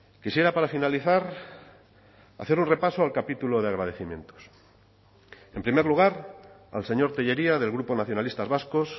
quisiera para finalizar hacer un repaso al capítulo de agradecimientos en primer lugar al señor tellería del grupo nacionalistas vascos